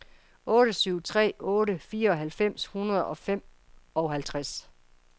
otte syv tre otte fireoghalvfems tre hundrede og femoghalvtreds